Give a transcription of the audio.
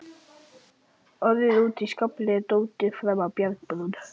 Orðið úti í skafli eða dottið fram af bjargbrún.